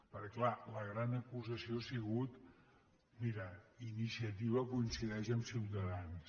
perquè és clar la gran acusació ha sigut mira iniciativa coincideix amb ciutadans